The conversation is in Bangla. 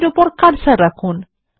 এটির উপর কার্সার রাখুন